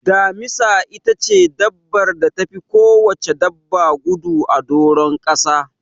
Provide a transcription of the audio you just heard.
Damisa itace dabbar da tafi kowacce dabba gudu a doron kasa.